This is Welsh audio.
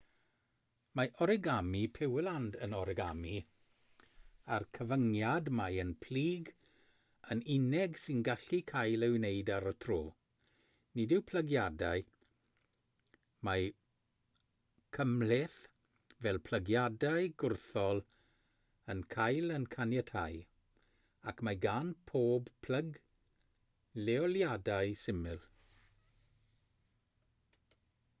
mae origami pureland yn origami â'r cyfyngiad mai un plyg yn unig sy'n gallu cael ei wneud ar y tro nid yw plygiadau mwy cymhleth fel plygiadau gwrthol yn cael eu caniatáu ac mae gan bob plyg leoliadau syml